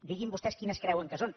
diguin vostès quines creuen que són